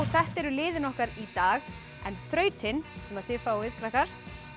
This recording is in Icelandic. þetta eru liðin okkar í dag en þrautin sem þið fáið krakkar